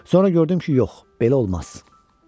Sonra gördüm ki, yox, belə olmaz.